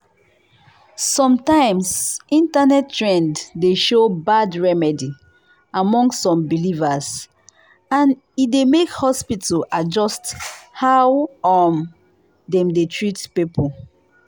sometimes internet trend dey show bad remedy among some believers and e dey make hospital adjust how um dem dey treat people.